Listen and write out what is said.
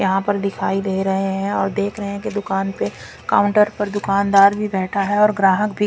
यहां पर दिखाई दे रहे हैं और देख रहे हैं की दुकान पे काउंटर पर दुकानदार भी रहता है और ग्राहक भी--